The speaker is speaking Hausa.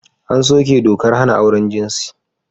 An soke dokar hana auren jinsi.